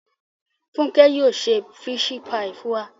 Funke yóò se fisi paii fun wa